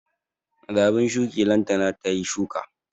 Da abun shuki lantana tayi shuka